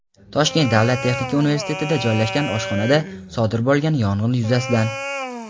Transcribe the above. Toshkent davlat texnika universitetida joylashgan oshxonada sodir bo‘lgan yong‘in yuzasidan.